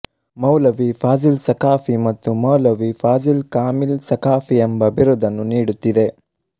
ಮೌಲವೀ ಫಾಝಿಲ್ ಸಖಾಫಿ ಮತ್ತು ಮೌಲವೀ ಫಾಝಿಲ್ ಖಾಮಿಲ್ ಸಖಾಫಿ ಎಂಬ ಬಿರುದನ್ನು ನೀಡುತ್ತಿದೆ